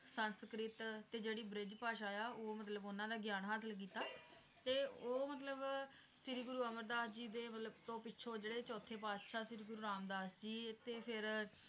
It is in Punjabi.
ਸੰਸਕ੍ਰਿਤ, ਤੇ ਜਿਹੜੀ ਬ੍ਰਿਜ ਭਾਸ਼ਾ ਆ ਉਹ ਮਤਲਬ ਉਹਨਾਂ ਦਾ ਗਿਆਨ ਹਾਸਿਲ ਕੀਤਾ ਤੇ ਉਹ ਮਤਲਬ ਸ਼੍ਰੀ ਗੁਰੂ ਅਮਰਦਾਸ ਜੀ ਦੇ ਮਤਲਬ ਤੋਂ ਪਿੱਛੋਂ ਜਿਹੜੇ ਚੌਥੇ ਪਾਤਸ਼ਾਹ ਸ੍ਰੀ ਗੁਰੂ ਰਾਮਦਾਸ ਜੀ ਤੇ ਫਿਰ